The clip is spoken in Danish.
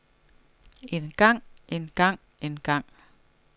engang engang engang